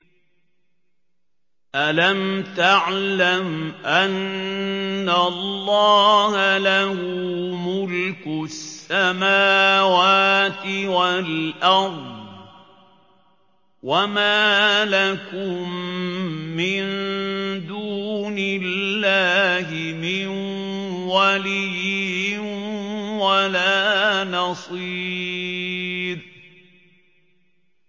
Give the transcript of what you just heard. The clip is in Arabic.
أَلَمْ تَعْلَمْ أَنَّ اللَّهَ لَهُ مُلْكُ السَّمَاوَاتِ وَالْأَرْضِ ۗ وَمَا لَكُم مِّن دُونِ اللَّهِ مِن وَلِيٍّ وَلَا نَصِيرٍ